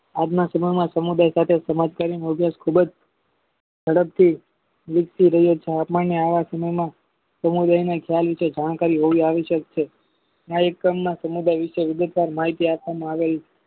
આજના સમયમાં સમુદાય સાથે સમાજકારી મુજબ ખૂબ જ ઝડપથી વિકસી રહ્યો છે સમૂહમાં સમુદાયને ક્યાં વિશે જાણકારી હોવી આવશ્યક છે આ એકમમા સમુદાય વિષે વિગતસાર માહિતી આપવામાં આવી છે